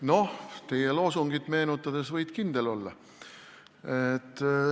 Noh, teie loosungit meenutades: võid kindel olla.